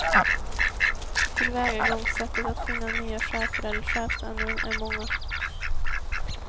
Tillvägagångssättet att finna nya chefer eller chefsämnen är många.